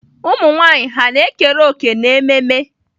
Ụmụ nwanyị hà na-ekere òkè n'ememme?